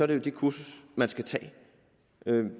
det jo det kursus man skal tage